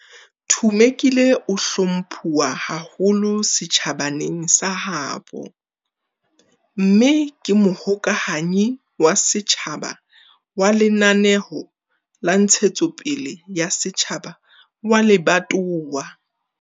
Thumekile o hlomphuwa haholo setjhabaneng sa habo, mme ke Mohokahanyi wa Setjhaba wa Lenaneo la Ntshetsopele ya Setjhaba wa lebatowa.